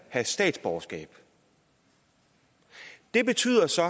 have statsborgerskab det betyder så